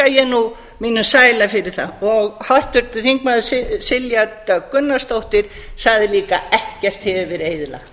ég nú mínum sæla fyrir það háttvirtur þingmaður silja dögg gunnarsdóttir sagði líka ekkert hefur verið eyðilagt